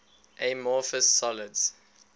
amorphous solids